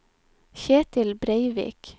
Kjetil Breivik